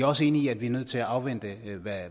også enig i at vi er nødt til at afvente